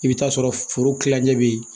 I bɛ t'a sɔrɔ foro kilancɛ bɛ yen